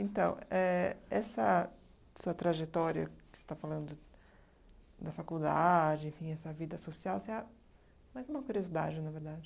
Então, éh essa sua trajetória, que você está falando da faculdade, enfim, essa vida social, se a mais uma curiosidade, na verdade.